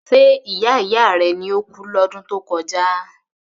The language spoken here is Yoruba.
Ṣe ìyá ìyá rẹ ló kú ní ọdún tó kọjá?